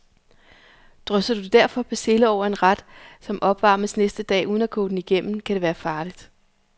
Drysser du derfor persille over en ret, som opvarmes næste dag, uden at koge den igennem, kan det være farligt.